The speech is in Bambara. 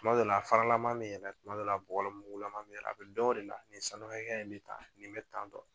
Tuma dɔ la a fara lama me yɛlɛ tuma dɔ la a bɔgɔ mugu lama bɛ yɛlɛ a bɛ dɔn o de la nin sanu hakɛya in bɛ tan nin bɛ tan tɔn.